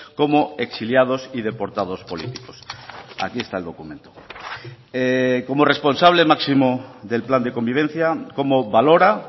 como exiliados y deportados políticos aquí está el documento como responsable máximo del plan de convivencia cómo valora